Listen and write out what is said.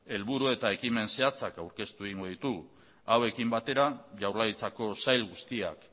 helburu eta ekimen zehatzak aurkeztu egingo ditugu hauekin batera jaurlaritzako sail guztiak